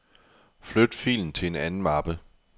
Flyt filen til en anden mappe.